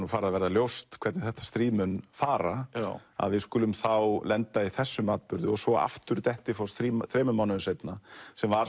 farið að verða ljóst hvernig þetta stríð muni fara að við skulum þá lenda í þessum atburði og svo aftur Dettifoss þremur mánuðum seinna sem var